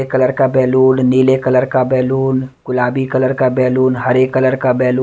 colour का balloon नीले colour का बैलून गुलाबी कलर का बैलून हरे कलर का बैलून --